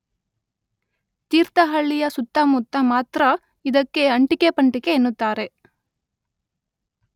ತೀರ್ಥಹಳ್ಳಿಯ ಸುತ್ತಮುತ್ತ ಮಾತ್ರ ಇದಕ್ಕೆ ಅಂಟಿಕೆ ಪಂಟಿಕೆ ಎನ್ನುತ್ತಾರೆ.